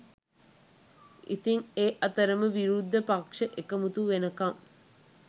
ඉතින් ඒ අතරෙම විරුද්ධ පක්‍ෂ එකමුතු වෙනකම්